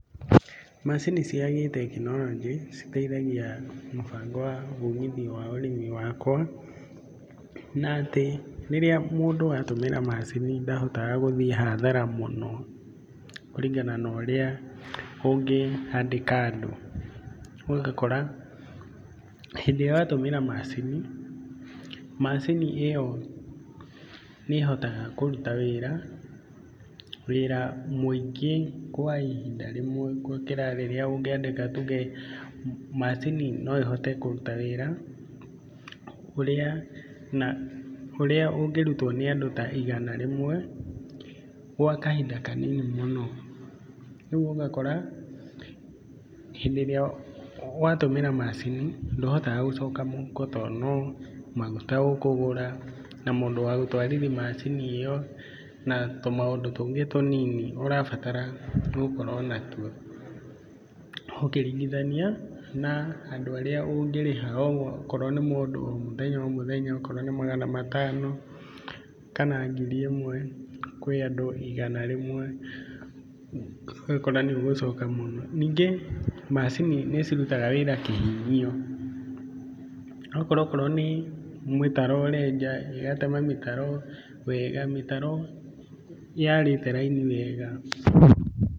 Macini cia gĩ tekinoronjĩ citeithagia mũbango wa umithio wa ũrĩmi wakwa na atĩ, rĩrĩa mũndũ atũmĩra maacini ndahotaga gũthiĩ hathara mũno kũringana na ũrĩa ũngĩandĩka andũ. Ũgakora, hĩndĩ ĩrĩa watũmĩra macini, macini ĩyo nĩ ĩhotaga kũrũta wĩra mũĩngĩ kwa ihinda rĩmwe gũkĩra rĩrĩa ũngĩandĩka tuge macini no ĩhote kũruta wĩra ũrĩa ũngĩrutwo nĩ andũ ta igana rĩmwe gwa kahinda kanini mũno. Rĩũ ũgakora, hindĩ ĩrĩa watũmĩra macini ndũhotaga gũcoka mũhuko tondũ no maguta ũkũgũra, na mũndũ wa gũtwarithia macini ĩyo, na tũmaũndũ tũngĩ tũnini ũrabatara gũkorwo natuo ũkĩringithania na andũ arĩa ũngĩrĩha o korwo nĩ mũndũ o mũthenya o mũthenya, okorwo ni magana matano kana ngiri ĩmwe, ũgakora nĩ ũgũcoka mũno. Nĩngĩ ũgakora macini nĩ cirutaga wĩra kĩhinyio. Ũgakora okorwo nĩ mĩtaro ũrenja, ĩgatema mĩtaro wega mĩtaro yarĩĩte raini wega.